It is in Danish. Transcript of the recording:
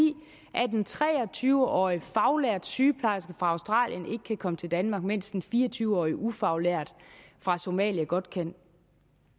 at en tre og tyve årig faglært sygeplejerske fra australien ikke kan komme til danmark mens en fire og tyve årig ufaglært fra somalia godt kan